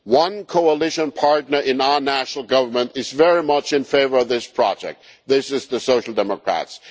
One coalition partner in our national government is very much in favour of this project the Social Democrats.